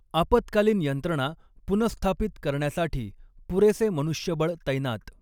आपत्कालीन यंत्रणा पुनःस्थापित करण्यासाठी पुरेसे मनुष्यबळ तैनात